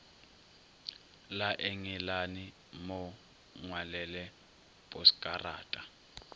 la engelane mo ngwalele poskarata